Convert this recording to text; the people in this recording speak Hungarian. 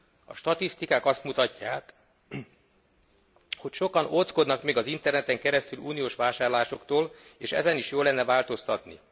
A statisztikák azt mutatják, hogy sokan ódzkodnak még az interneten keresztüli uniós vásárlásoktól, és ezen is jó lenne változtatni.